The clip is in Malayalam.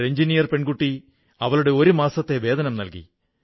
ഒരു എഞ്ചിനീയർ പെൺകുട്ടി അവളുടെ ഒരു മാസത്തെ വേതനം നല്കി